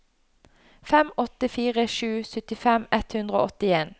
fem åtte fire sju syttifem ett hundre og åttien